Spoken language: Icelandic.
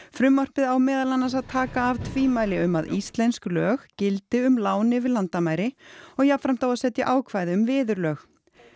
frumvarpið á meðal annars að taka af tvímæli um að íslensk lög gildi um lán yfir landamæri og jafnframt á að setja ákvæði um viðurlög